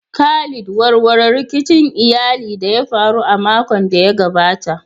Khalid, warware rikicin iyali da ya faru a makon da ya gabata.